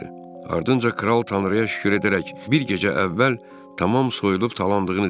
Ardınca kral Tanrıya şükür edərək bir gecə əvvəl tamam soyulub talandığını dedi.